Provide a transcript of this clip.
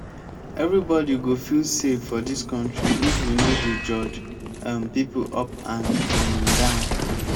everybody go feel safe for dis country if we no dey judge um pipo up and um down.